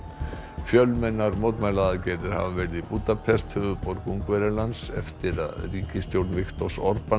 fjölmennar mótmælaaðgerðir hafa verið í Búdapest höfuðborg Ungverjalands eftir að ríkisstjórn Viktors